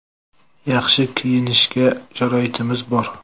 Yaxshi kiyinishga sharoitimiz bor.